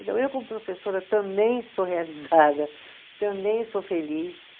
Eu, como professora, também sou realizada, também sou feliz.